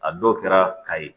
A dɔw kɛra kayi